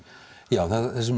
já